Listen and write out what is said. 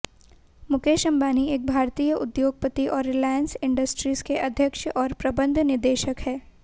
मुकेश अंबानी एक भारतीय उद्योगपति और रिलायंस इंडस्ट्रीज के अध्यक्ष और प्रबंध निदेशक हैं